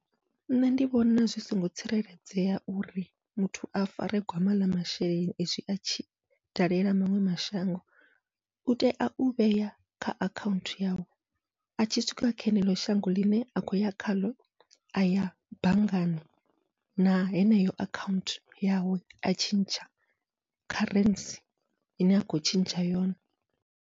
Nṋe ndi vhona zwi songo tsireledzea uri muthu a fare gwama ḽa masheleni, izwi atshi dalela maṅwe mashango u tea u vhea kha akhaunthu yawe, atshi swika kha ḽeneḽo shango ḽine a kho ya khaḽo, aya banngani na heneyo akhaunthu yawe a tshentsha kharentsi ine a khou tshentsha yone.